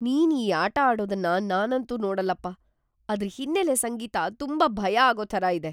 ನೀನ್ ಈ ಆಟ ಆಡೋದನ್ನ ನಾನಂತೂ ನೋಡಲ್ಲಪ್ಪ. ಅದ್ರ್ ಹಿನ್ನೆಲೆ ಸಂಗೀತ ತುಂಬಾ ಭಯ ಆಗೋ ಥರ ಇದೆ.